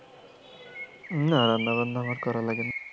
না রান্নাবান্না আমার করা লাগেনা।